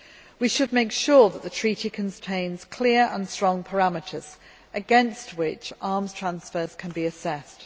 We should make sure that the treaty contains clear and strong parameters, against which arms transfers can be assessed.